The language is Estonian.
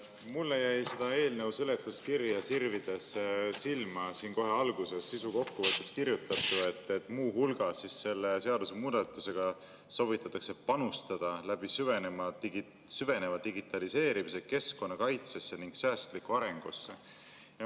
Mulle jäi eelnõu seletuskirja sirvides silma kohe alguses sisukokkuvõttes kirjutatu, et muu hulgas soovitakse selle seadusemuudatusega süveneva digitaliseerimise kaudu panustada keskkonnakaitsesse ning säästlikku arengusse.